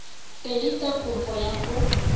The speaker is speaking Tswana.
pedi tsa kopo ya go